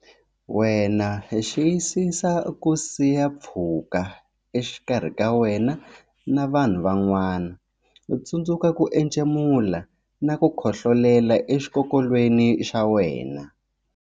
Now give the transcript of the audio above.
Wena Xiyisisa ku siya pfhuka exikarhi ka wena na vanhu van'wana Tsundzuka ku entshemula na ku khohlolela exikokolweni xa wena.